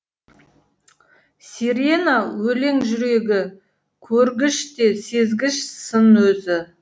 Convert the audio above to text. сирена өлең жүрегі көргіш те сезгіш сын өзі